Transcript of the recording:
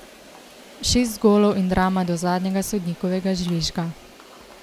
Šest golov in drama do zadnjega sodnikovega žvižga.